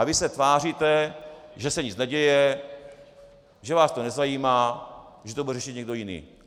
A vy se tváříte, že se nic neděje, že vás to nezajímá, že to bude řešit někdo jiný.